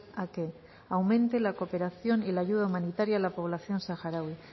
a que aumente la cooperación y la ayuda humanitaria a la población saharaui